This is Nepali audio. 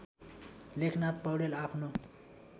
लेखनाथ पौड्याल आफ्नो